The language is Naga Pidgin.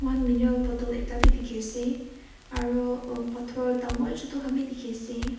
moihan mineral bottle ekta wii dikhi ase aru uh pathor dangor chitu khan bi dikhi ase.